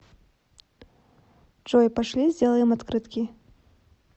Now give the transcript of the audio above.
джой пошли сделаем открытки